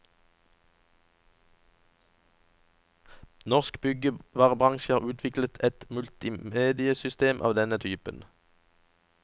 Norsk byggevarebransje har utviklet et multimediesystem av denne typen.